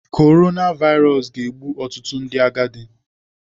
Korona vairos ga-egbu ọtụtụ ndị agadi.